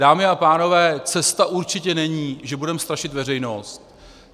Dámy a pánové, cesta určitě není, že budeme strašit veřejnost.